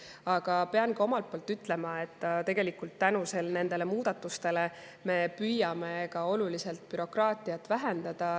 Aga pean omalt poolt ütlema, et nende muudatuste abil me püüame ka oluliselt bürokraatiat vähendada.